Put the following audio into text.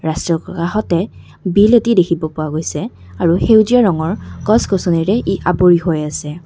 চৌ পা কাষতে বিল এটি দেখিব পোৱা গৈছে আৰু সেউজীয়া ৰঙৰ গছ গছনিৰে ই আৱৰি হৈ আছে।